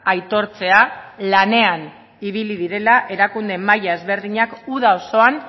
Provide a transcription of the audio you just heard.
aitortzea lanean ibili direla erakunde maila ezberdinak uda osoan